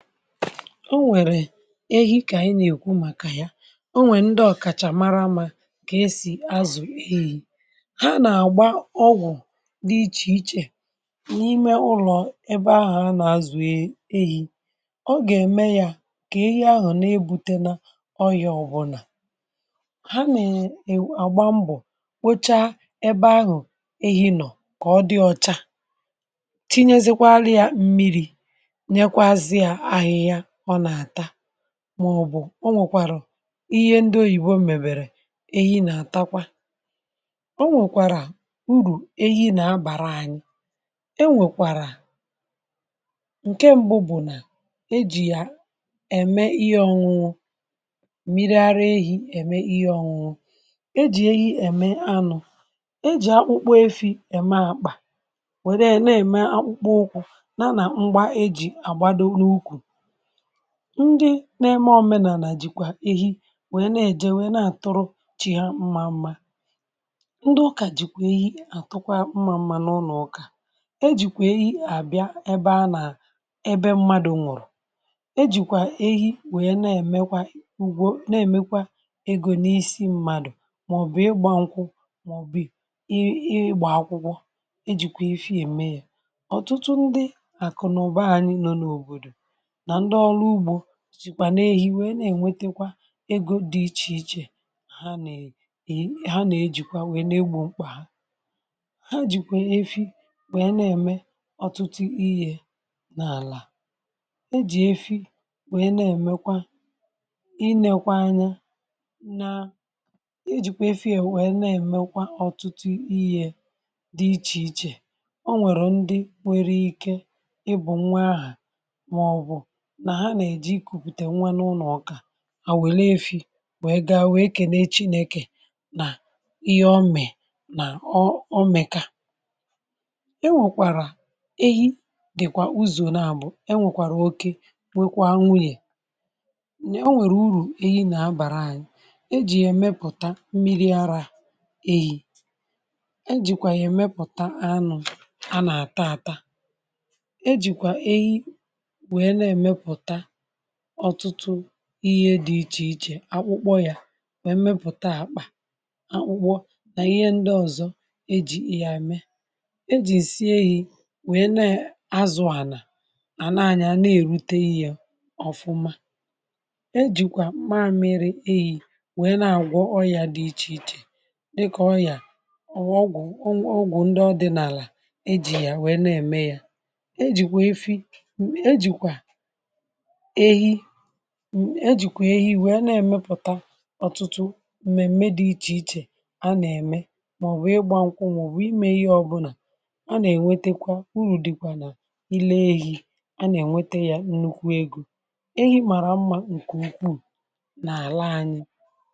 O nwèrè ehi, kà ànyi nà-èkwu, màkà ya, o nwè ndị ọ̀kàchà mara amȧ, kà esì azụ̀ ehi, ha nà-àgba ọgwụ̀, di ichè ichè, n’ime ụlọ̀, ebe ahụ̀, a nà-azụ̀ ehi, ọ gà-ème ya, kà ehi ahụ̀, ọga eme ya ka nà-ebute n’ọyị̇, ọbụlà ha nà-àgba mbọ̀, wecha ebe ahụ̀, ehi nọ̀, kà ọ dị ọcha, ti yesi kwara ya mmirir yakwa sịya ahịhịa ọ na-ata màọ̀bụ̀, o nwèkwàrọ̀ ihe ndị oyìbo, m̀mèbèrè ehi, nà-àtakwa, o nwèkwàrà urù ehi, nà-abàra anyị, e nwèkwàrà ǹke, mbụ bụ̀, nà e jì ya ème, ihe ọ̇ṅụṅụ, mmiri ara ehi̇, ème ihe ọ̇ṅụṅụ, e jì ehi ème anụ̇, e jì akpụkpo, efi̇, èma àkpà, wère èna, ème akpụkpọ ụkwụ, nȧ nà ngba eji̇ àgbado, n’ukwù, ndị nẹẹ, mà òmenànà, jìkwà ehi, nwẹ, nà ẹ̀jẹ, nwẹ, nà àtụrụ, chi hȧ, mma mmȧ, ndị ụkà, jìkwà, ihe àtụkwa, mma mmȧ, n’ụnọ̀, ụkà, e jìkwà, i hàbịa, ẹbẹ, a nà ẹbẹ, mmadụ̀, nwụ̀rụ̀, e jìkwà, ehe, nwẹ̀nyẹ̀, nà ẹ̀mẹkwa, ugwȯ, nà ẹ̀mẹkwa, egȯ, n’isi, mmadù, mà ọ̀ bụ̀, ịgbȧ ṅkwụ, mà ọ̀ bụ̀, i, ịgbà akwụkwọ, e jìkwà efi, ème yȧ, ọtụtụ ndị àkụ, nà ụbọghanyi, nọ n’òbòdò, na ndịolụ ụgbo sikwa na-ehi, wèe, na-ènwetekwa, ego, dị ichèichè, ha nà-ejì ha, nà-ejìkwa, wèe, na-egbu̇ mkpà ha, ha jìkwà, efi, wèe, na-ème, ọ̀tụtụ ihe, n’àlà, e jì efi, wèe, na-èmekwa, i nekwa, anyȧ, na e jìkwà efi, wee, na-èmekwa, ọ̀tụtụ ihe, dị̇ ichè ichè, o nwèrè ndị, nwere ike, ịbụ̇, nwa ahà, nà ha nà-eji, ikùpùtè, nwanne ụlọ̀, ọkà, à nwèlu, efi̇, nwèe, gaa, wee, kène chi, nà-ekė, nà ihe ọmè, nà ọmèkà, enwèkwàrà ehi, dị̀kwà uzò, n’abụ̀, enwèkwàrà oke, nwekwaa, nwunyè, onwèrè, urù ehi, nà-abàrà anyị, e jì yà, ẹmępụ̀ta, mmiri arȧ ehi̇, e jìkwà yà, ẹmępụ̀ta, anụ̇, a nà àta, àta, e jìkwà ehi, nwee na emeputa ọtụtụ ihe dị iche iche, akpụkpọ yà, wee, mepụ̀ta, akpà, akpụ̇kpọ, dà, ihe ndị ọ̀zọ, e jì, ị yà, ème, e jì, si eyi, we na azụ̀, ànà, ànanya, na èrute, ihe ọ̀fụma, e jìkwà, maȧmịrị, eyi, we, na àgwọ, ọyà, dị ichè ichè, dịkà, ọyà, ọgwụ, ọgwụ, ndị ọdị̀nàlà, e jì yà, wee, na ème, yȧ, e jìkwà efi, e jìkwà ehi̇ m, ejìkwà ehi̇, wèe, na-èmepùta, ọ̀tụ̀tụ̀ m̀mèm̀me, dị̇ ichè ichè, a nà-ème, màọ̀bụ̀, ịgbȧ nkwụ̇, màọ̀bụ̀, imė ihe ọ̇bụ̇nà, a nà-ènwetekwa, uru̇ dị̇kwà, nà ile ehi̇, a nà-ènwete, yȧ, nnukwu egȯ, ehi, màrà, mmȧ, ǹkè, nnukwu, n’àla anyị.